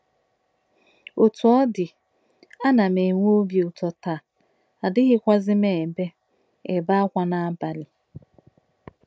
“ Otú ọ dị, a na m enwe obi ụtọ taa, anaghịzikwa m ebe m ebe ákwá n’abalị.